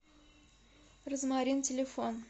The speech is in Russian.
розмарин телефон